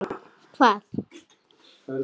Heru með mér.